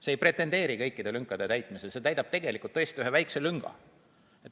See ei pretendeeri kõikide lünkade täitmisele, see täidab tegelikult tõesti ühe väikse lünga.